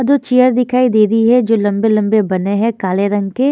दो चेयर दिखाई दे रही है जो लंबे लंबे बने हैं काले रंग के।